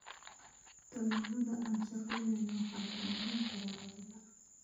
Tallaalada aan shaqaynayn waxay burburin karaan adhiga.